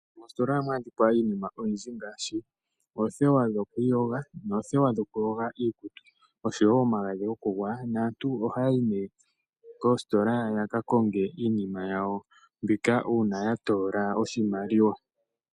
Moositola ohamu adhika iinima oyindji ngaashi oothewa dhokwiyoga noothewa dhokuyoga iikutu nomagadhi gokugwaya naantu ohayi koositola yaka konge iinima yawo mbika ngele yatoola oshimaliwa.